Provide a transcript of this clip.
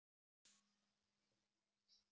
Ég vökvaði blómin á Akranesi.